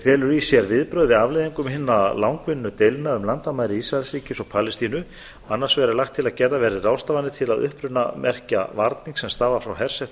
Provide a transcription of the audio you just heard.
felur í sér viðbrögð við afleiðingum hinna langvinnu deilna um landamæri ísraelsríkis og palestínu annars vegar er lagt til að gerðar verði ráðstafanir til að upprunamerkja varning sem stafar frá hersetnum